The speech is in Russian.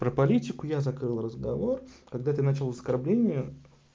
про политику я закрыл разговор когда ты начал оскорбление